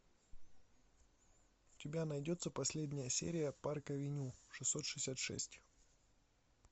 у тебя найдется последняя серия парк авеню шестьсот шестьдесят шесть